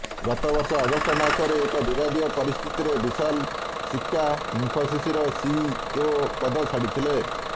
ଗତ ବର୍ଷ ଅଗଷ୍ଟମାସରେ ଏକ ବିବାଦୀୟ ପରିସ୍ଥିତିରେ ବିଶାଲ ସିକ୍କା ଇନଫୋସିସର ସିଇଓ ପଦ ଛାଡିଥିଲେ